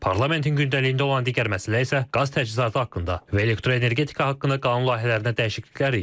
Parlamentin gündəliyində olan digər məsələ isə qaz təchizatı haqqında və elektroenergetika haqqında qanun layihələrinə dəyişikliklər idi.